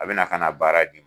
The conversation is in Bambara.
A bɛ na ka na baara di.